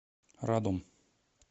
радом